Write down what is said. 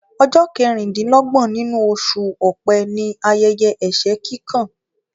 Ọjọ́ kẹrin-din-lọ́gbọ̀n inú oṣù ọ̀pẹ ni ayẹyẹ ẹsẹ kíkan